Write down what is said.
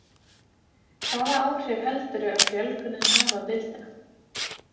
Hvaða áhrif heldurðu að fjölgunin hafi á deildina?